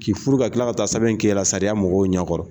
K'i furu ka kila ka taa sɛbɛn kɛ i yɛrɛɛ la sariya mɔgɔw ɲɛ kɔrɔ.